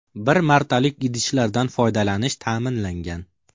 Bir martalik idishlardan foydalanish ta’minlangan.